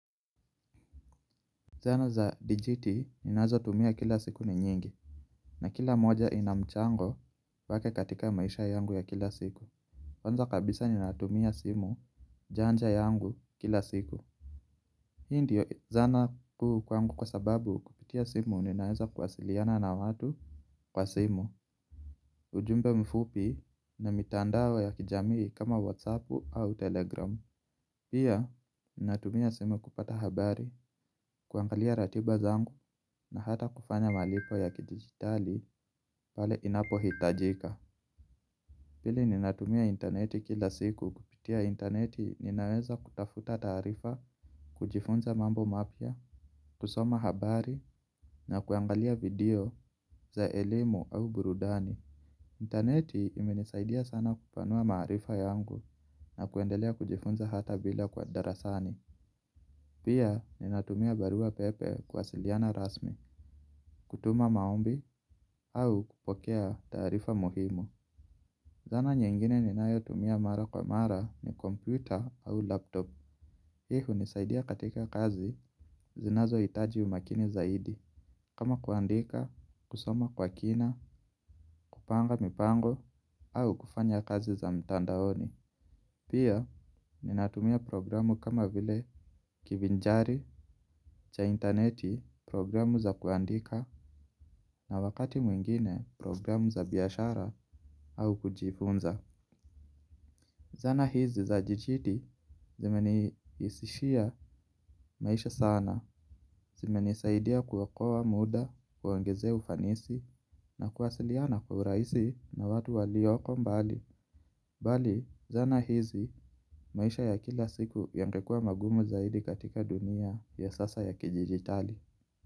Zana za DGT ninazo tumia kila siku ni nyingi, na kila moja ina mchango wake katika maisha yangu ya kila siku. Kwanza kabisa ninatumia simu janja yangu kila siku. Hii ndio zana kuu kwangu kwa sababu kupitia simu ninaweza kuwasiliana na watu kwa simu. Ujumbe mfupi na mitandao ya kijamii kama whatsappu au telegramu. Pia, ninatumia simu kupata habari, kuangalia ratiba zangu na hata kufanya malipo ya kidigitali pale inapo hitajika. Pili ninatumia interneti kila siku. Kupitia interneti ninaweza kutafuta tarifa, kujifunza mambo mapya, kusoma habari na kuangalia video za elimu au burudani. Interneti imenisaidia sana kupanua maarifa yangu na kuendelea kujifunza hata bila kwa darasani. Pia ninatumia barua pepe kuwasiliana rasmi, kutuma maombi au kupokea taarifa muhimu. Zana nyingine ninayotumia mara kwa mara ni kompyuta au laptop. Hii hunisaidia katika kazi zinazo hitaji umakini zaidi. Kama kuandika, kusoma kwa kina, kupanga mipango au kufanya kazi za mtandaoni. Pia ninatumia programu kama vile kivinjari cha interneti, programu za kuandika na wakati mwingine programu za biashara au kujifunza. Zana hizi za dijiti zimeni rahisishia maisha sana. Zimenisaidia kuokoa muda, kuongezea ufanisi na kuwasiliana kwa urahisi na watu walioko mbali. Bali zana hizi, maisha ya kila siku yangekuwa magumu zaidi katika dunia ya sasa ya kidijitali.